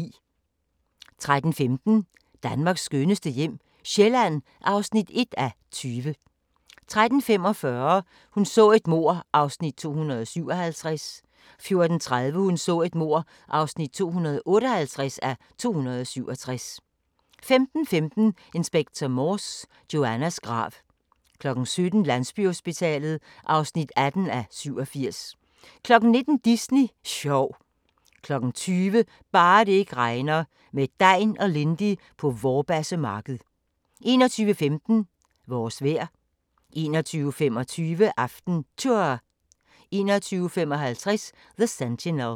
13:15: Danmarks skønneste hjem - Sjælland (1:20) 13:45: Hun så et mord (257:267) 14:30: Hun så et mord (258:267) 15:15: Inspector Morse: Joannas grav 17:00: Landsbyhospitalet (18:87) 19:00: Disney sjov 20:00: Bare det ikke regner – med Degn og Lindy på Vorbasse Marked 21:15: Vores vejr 21:25: AftenTour 21:55: The Sentinel